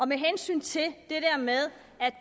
med hensyn til det